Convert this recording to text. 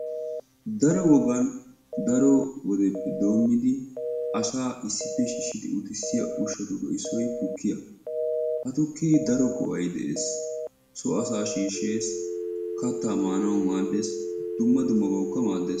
Daro wogan daro wodeppe doomidi asaa issippe shiishidi uttisiya ushshatuppe issoy tukkiyaa. Ha tukke daro go"ay de'ees. So asa shiishshees, kattaa maanawu maaddees. Dumma dummabawukka maaddees.